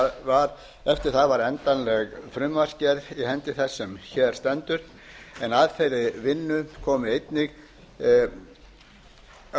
og eftir það var endanleg frumvarpsgerð í hendi þess sem hér stendur en að þeirri vinnu komu